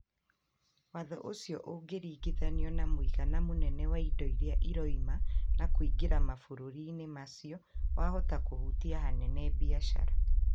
Watho ũcio ũkĩringithanio na mũigana munene wa indo iria irauma na kũingĩra mabũrũrinĩ macio wahota kuhutia hanene biashara